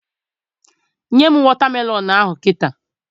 Nye m wọta melọn ahụ kịta!